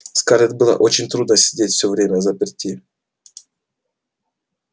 скарлетт было очень трудно сидеть всё время взаперти